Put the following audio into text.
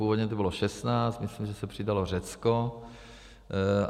Původně to bylo 16, myslím, že se přidalo Řecko.